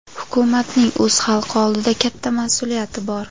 hukumatning o‘z xalqi oldida katta mas’uliyati bor.